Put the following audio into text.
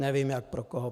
Nevím, jak pro koho.